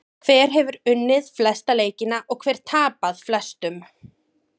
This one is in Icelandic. Hver hefur unnið flesta leikina og hver tapað flestum?